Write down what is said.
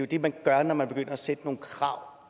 det man gør når man begynder at sætte nogle krav